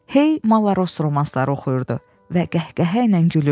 Hey malaros romanları oxuyurdu və qəhqəhə ilə gülürdü.